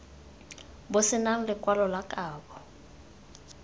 bo senang lekwalo la kabo